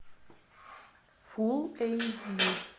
фул эйч ди